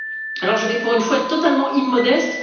Alors je vais, pour une fois, être totalement immodeste.